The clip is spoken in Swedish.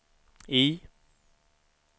I